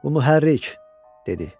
Bu mühərrik," dedi.